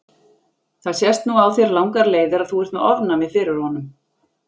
Það sést nú á þér langar leiðir að þú ert með ofnæmi fyrir honum.